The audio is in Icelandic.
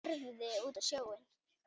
Horfði út á sjóinn.